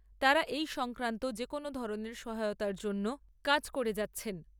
তাঁরা এই সংক্রান্ত যে কোনো ধরনের সহায়তার জন্য কাজ করে